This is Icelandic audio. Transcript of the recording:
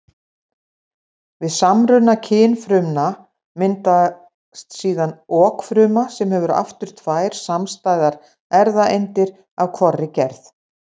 Við samruna kynfrumna myndast síðan okfruma sem hefur aftur tvær samstæðar erfðaeindir af hvorri gerð.